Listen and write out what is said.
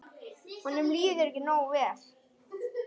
Honum líður ekki nógu vel.